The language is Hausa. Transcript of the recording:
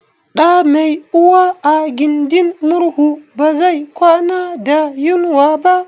Ɗa mai uwa a gindin murhu ba zai kwana da yunwa ba